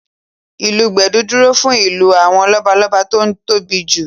Ìlù gbẹ̀du dúró fún ìlù àwọn lọ́balọ́ba tó tóbi jù